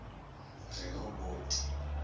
rehoboti